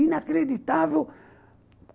Inacreditável.